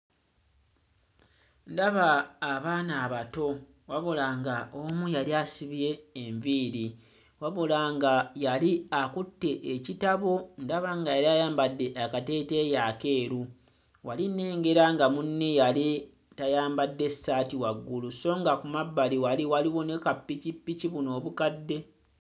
Ndaba abaana abato wabula ng'omu yali asibye enviiri wabula nga yali akutte ekitabo, ndaba nga yali ayambadde akateeteeyi akeeru. Wali nnengera nga munne yali tayambadde ssaati waggulu so nga ku mabbali wali waliwo ne kappikippiki, buno obukadde.